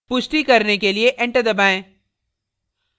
पुष्टि करने के लिए enter दबाएँ